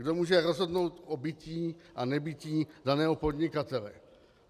Kdo může rozhodnout o bytí a nebytí daného podnikatele?